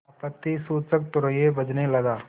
आपत्तिसूचक तूर्य बजने लगा